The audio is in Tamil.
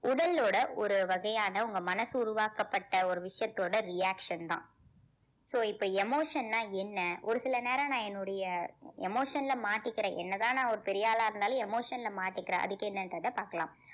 உடலோட ஒரு வகையான உங்க மனசு உருவாக்கப்பட்ட ஒரு விஷயத்தோட reaction தான் so இப்ப emotion ன்னா என்ன ஒரு சில நேரம் நான் என்னுடைய emotion ல மாட்டிக்கிறேன் என்னதான் நான் ஒரு பெரிய ஆளா இருந்தாலும் emotion ல மாட்டிக்கிறேன் அதுக்கு என்னன்றதை பார்க்கலாம்